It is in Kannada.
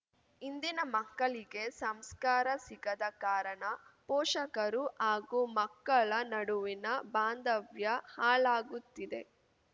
ಇಂದಿನ ಮಕ್ಕಳಿಗೆ ಸಂಸ್ಕಾರ ಸಿಗದ ಕಾರಣ ಪೋಷಕರು ಹಾಗೂ ಮಕ್ಕಳ ನಡುವಿನ ಬಾಂಧವ್ಯ ಹಾಳಾಗುತ್ತಿದೆ